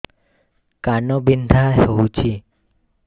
କାନ ବିନ୍ଧା ହଉଛି